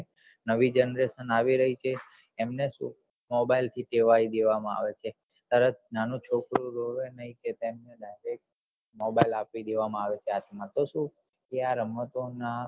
નવી generation આવી રહી છે એમને શું mobile થી ટેવાય દેવા માં આવે છે એમને શું નાનું છોકરું રોવે ની કે તેને mobile આપી દેવા માં આવે ચા હાથ માં તો શું કે આ રમતો ના